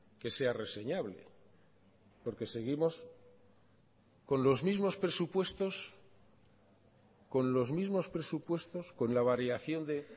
que sea reseñable porque seguimos con los mismos presupuestos con los mismos presupuestos con la variación de